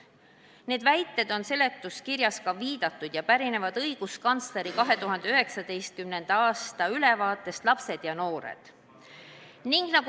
Neile väidetele on ka seletuskirjas viidatud ja need pärinevad õiguskantsleri 2019. aasta ülevaatest "Lapsed ja noored".